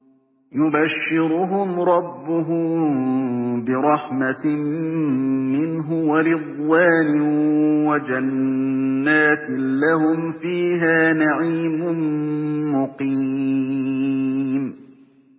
يُبَشِّرُهُمْ رَبُّهُم بِرَحْمَةٍ مِّنْهُ وَرِضْوَانٍ وَجَنَّاتٍ لَّهُمْ فِيهَا نَعِيمٌ مُّقِيمٌ